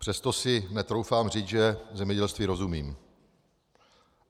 Přesto si netroufám říci, že zemědělství rozumím.